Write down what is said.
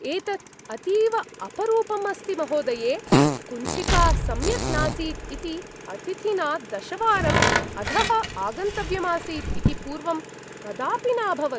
एतत् अतीव अपरूपम् अस्ति, महोदये। कुञ्चिका सम्यक् नासीत् इति अतिथिना दशवारम् अधः आगन्तव्यम् आसीत् इति पूर्वं कदापि न अभवत्।